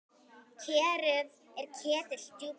Kerið er ketill djúpur.